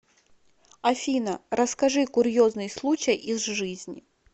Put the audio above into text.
афина расскажи курьезный случай из жизни